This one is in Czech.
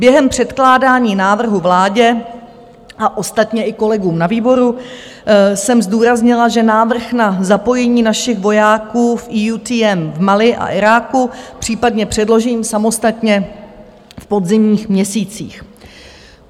Během předkládání návrhu vládě, a ostatně i kolegům na výboru, jsem zdůraznila, že návrh na zapojení našich vojáků v EUTM v Mali a Iráku případně předložím samostatně v podzimních měsících.